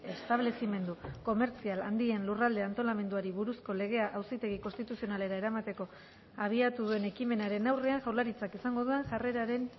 establezimendu komertzial handien lurralde antolamenduari buruzko legea auzitegi konstituzionalera eramateko abiatu duen ekimenaren aurrean jaurlaritzak izango duen jarreraren